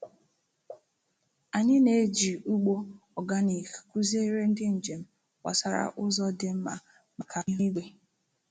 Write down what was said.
Anyị na-eji ugbo oganik kụziere ndị njem gbasara ụzọ dị mma maka ihu igwe.